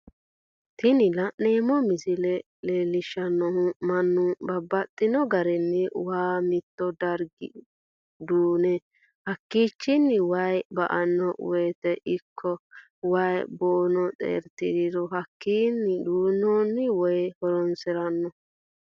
Tini la'neemo misile leellishanohu mannu babaxxino garinni waa mito dariga duune hakkichinni wayi ba'ano woyite ikko wayi boono xeeritidhuro hakkinni duu'nooni wayinni horonsirano